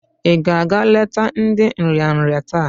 I ga-aga leta ndi nrịanrị taa?